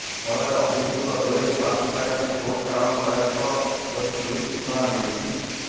ଫଳରେ ଅଭିଯୁକ୍ତ ଦ୍ୱୟଙ୍କୁ ଆସନ୍ତାକାଲି କୋର୍ଟ ଚାଲାଣ କରାଯିବ ବୋଲି ପୁଲିସ ସୂଚନା ଦେଇଛି